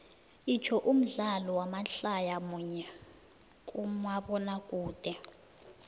itsho umdlalo wamadlaya munye kumabonakude